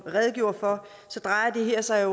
redegjort for drejer det her sig